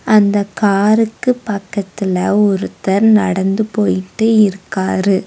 அந்தக் காருக்கு பக்கத்துல ஒருத்தர் நடந்து போயிட்டு இருக்காரு.